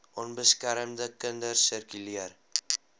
onbeskermde kinders sirkuleer